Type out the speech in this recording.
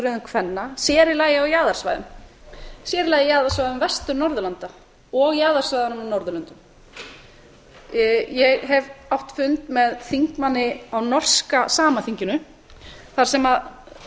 röðum kvenna sér í lagi á jaðarsvæðum sér í laga á jaðarsvæðum vestur norðurlanda og jaðarsvæðum á norðurlöndum ég hef átt fund með þingmanni á norska samaþinginu þar sem